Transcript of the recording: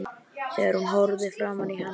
Þegar hún horfði framan í hann